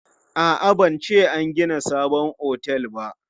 A'a, ban ce an gina sabon otel ba.